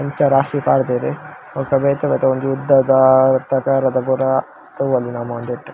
ಇಂತ ರಾಶಿ ಪಾಡ್ದ್ ರ್ ಬೊಕ ಬೇತೆ ಬೇತೆ ಒಂಜಿ ಉದ್ದದ ತೋರ್ ತೋರದ ಪೂರ ತೂವೊಲಿ ನಮ ಉಂದೆಟ್.